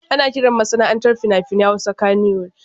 Ana kiran masana'antar fina-finan Hausa Kannywood.